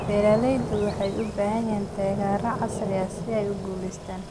Beeralayda waxay u baahan yihiin taageero casri ah si ay u guulaystaan.